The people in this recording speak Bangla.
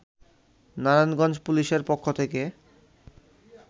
নারায়ণগঞ্জ পুলিশের পক্ষ থেকে